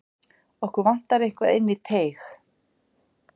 Okkur vantar eitthvað inn í teig.